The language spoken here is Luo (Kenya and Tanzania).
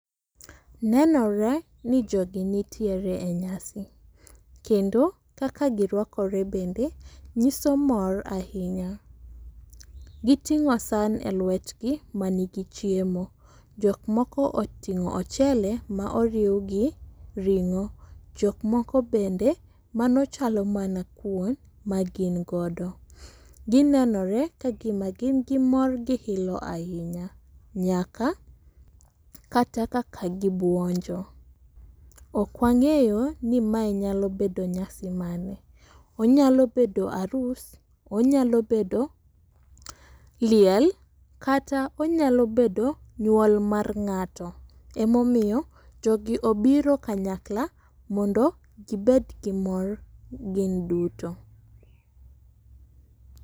Nenore ni jogi nitiere e nyasi kendo kaka girwakore bende nyiso mor ahinya. Giting'o san e lwetgi manigi chiemo, jok moko oting'o ochele ma oriw gi ring'o, jok moko bende mano chalo mana kuon ma gin godo. Ginenore ka gima gin gi mor gi ilo ahinya, nyaka kata kaka gibwonjo. Ok wang'eyo ni mae nyalo bedo nyasi mane. Onyalo bedo arus, onyalo bedo liel ,kata onyalo bedo nyuol mar ng'ato. Emomiyo jogi obiro kanyakla mondo gibed gi mor gin duto.